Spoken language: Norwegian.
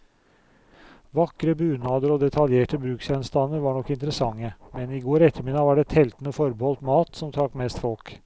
Vakre bunader og detaljerte bruksgjenstander var nok interessante, men i går ettermiddag var det teltene forbeholdt mat, som trakk mest folk.